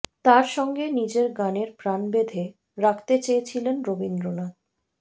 তাঁর সঙ্গে নিজের গানের প্রাণ বেঁধে রাখতে চেয়েছিলেন রবীন্দ্রনাথ